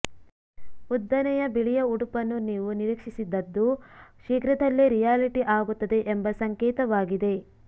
ಉದ್ದನೆಯ ಬಿಳಿಯ ಉಡುಪನ್ನು ನೀವು ನಿರೀಕ್ಷಿಸಿದದ್ದು ಶೀಘ್ರದಲ್ಲೇ ರಿಯಾಲಿಟಿ ಆಗುತ್ತದೆ ಎಂಬ ಸಂಕೇತವಾಗಿದೆ